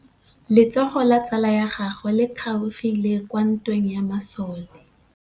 Letsôgô la tsala ya gagwe le kgaogile kwa ntweng ya masole.